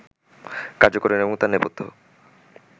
কার্যকারণ এবং তার নেপথ্য